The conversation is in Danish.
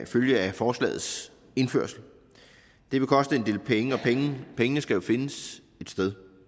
følge af forslagets indførelse det vil koste en del penge og pengene skal jo findes et sted